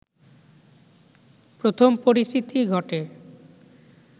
প্রথম পরিচিতি ঘটে